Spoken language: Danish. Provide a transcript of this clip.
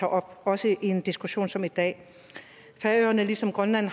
op også i en diskussion som i dag færøerne har ligesom grønland